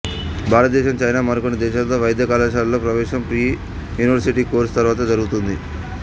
భారతదేశం చైనా మరికొన్ని దేశాలలో వైద్యకళాశాలలలో ప్రవేశం ప్రి యూనివర్సిటీ కోర్సు తరువాత జరుగుతుంది